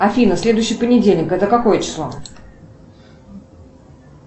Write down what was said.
афина следующий понедельник это какое число